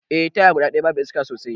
Eh, taya guda daya babu iska sosai.